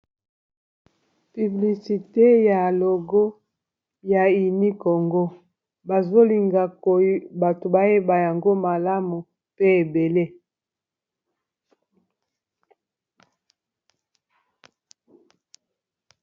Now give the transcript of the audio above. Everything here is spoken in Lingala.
Publicité ya logo ya Uni congo, bazo linga bato ba yeba yango malamu pe ébélé .